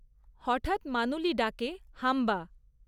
হঠাৎ মানুলি ডাকে, হাম্বা!